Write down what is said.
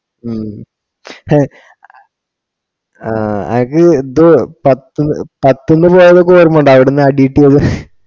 ഉം ഹെ ആ അനക്ക് ഇത് പത്തുന്ന് പോയതൊക്കെ ഓർമ ഇണ്ട അവ്ട്ന്ന് അടി കിട്ട്യേത്